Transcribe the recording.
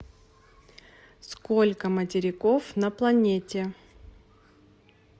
сколько материков на планете